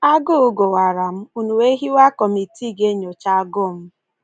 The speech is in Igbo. Agụụ gụwara m, ụnụ wee hiwe kọmitii ga-enyocha agụụ m.